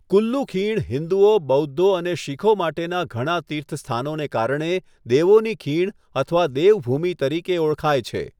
કુલ્લુ ખીણ હિન્દુઓ, બૌદ્ધો અને શીખો માટેના ઘણા તીર્થસ્થાનોને કારણે 'દેવોની ખીણ' અથવા 'દેવ ભૂમિ' તરીકે ઓળખાય છે.